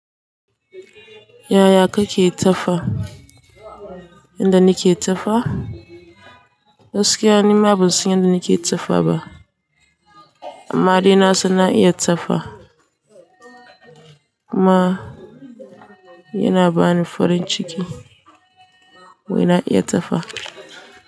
Yaya kake ta fa? Inda nake ta fa? Gaskiya nima ban san inda nake ta fa ba. Amma de nasan na iya ta fa. Kuma yana bani farin ciki. Wai na iya ta fa.